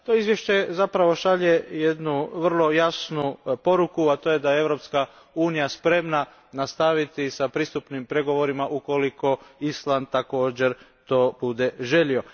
To izvješće zapravo šalje jednu vrlo jasnu poruku, a to je da je Europska unija spremna nastaviti s pristupnim pregovorima ukoliko Island također to bude želio.